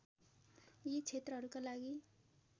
यी क्षेत्रहरूका लागि